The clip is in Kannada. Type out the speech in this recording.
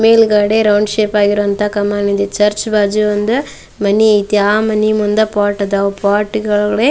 ಮೇಲ್ಗಡೆ ರೌಂಡ್ ಶೇಪ್ ಆಗಿರುವಂತಹ ಕಾಮನ್ ಇದೆ ಚರ್ಚ್ ಬಾಜು ಒಂದ್ ಮನಿ ಐತಿ ಆಹ್ಹ್ ಮನಿ ಮುಂದ ಪಾಟ್ ಆದವು ಪಾಟ್ಗ ಳ ಒಳಗಡೆ --